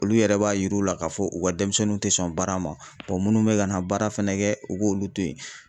Olu yɛrɛ b'a yir'u la k'a fɔ u ka denmisɛnninw tɛ sɔn baara ma minnu bɛ ka na baara fana kɛ u k'olu to yen.